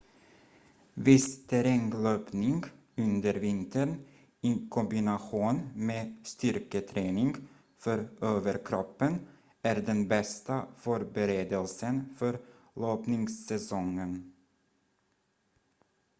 viss terränglöpning under vintern i kombination med styrketräning för överkroppen är den bästa förberedelsen för löpningssäsongen